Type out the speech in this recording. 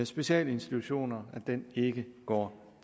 specialinstitutioner ikke går